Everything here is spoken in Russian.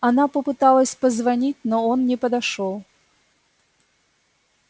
она попыталась позвонить но он не подошёл